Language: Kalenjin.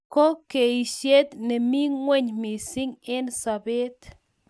ko keisyet nemi ingweny missing eng sobet